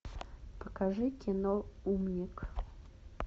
покажи кино умник